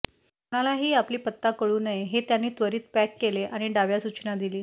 कोणालाही आपली पत्ता कळू नये हे त्यांनी त्वरीत पॅक केले आणि डाव्या सूचना दिली